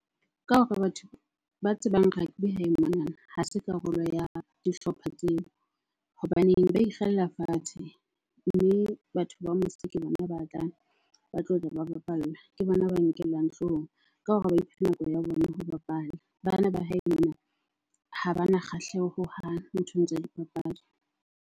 Ka hore batho ba tsebang rugby hae monana ha se karolo ya dihlopha tseo. Hobaneng ba ikgella fatshe mme batho ba mose ke bona ba tlang ba ba bapalla. Ke bona ba nkellwang hloohong ka hore ba iphe ho bapala. Bana ba hae mona ha bana kgahleho hohang nthong tsa dipapadi.